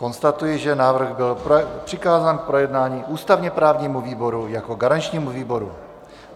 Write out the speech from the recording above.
Konstatuji, že návrh byl přikázán k projednání ústavně-právnímu výboru jako garančnímu výboru.